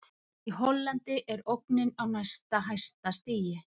Í Hollandi er ógnin á næst hæsta stigi.